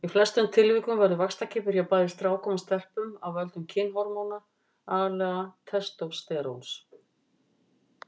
Í flestum tilvikum verður vaxtarkippur hjá bæði strákum og stelpum af völdum kynhormóna, aðallega testósteróns.